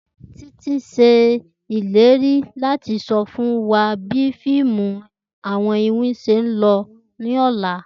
Titi ṣe ileri lati sọ fun wa bi fiimu iwin ṣe lọ ni ọla